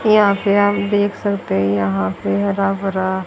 यहां पे आप देख सकते हैं यहां पे हरा भरा--